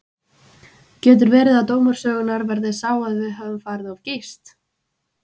Getur verið að dómur sögunnar verði sá að við höfum farið of geyst?